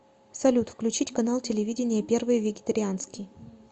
салют включить канал телевидения первый вегетарианский